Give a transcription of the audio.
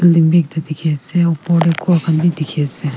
building bhi dekhi ase upor te ghor khan bhi dekhi ase.